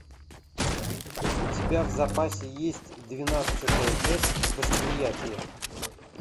у тебя в запасе есть двенадцатая часть восприятие